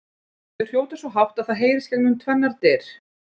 Þau hrjóta svo hátt að það heyrist gegnum tvennar dyr!